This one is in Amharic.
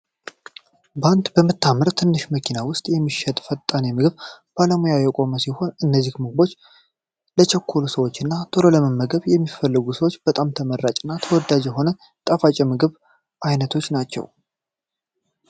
ባንድ በምታመር ትንሽዬ መኪና ውስጥ የሚሸጥ ፈጣን ምግብ ባለሙያ የቆመ ሲሆን እነዚህ ምግቦች ለቸኮሉ ሰዎች እና ቶሎ መመገብ የሚፈልጉ ሰዎች በጣም ተመራጭ እና ተወዳጅ የሆኑ ጣፋጭ የምግብ አይነቶች ናቸው።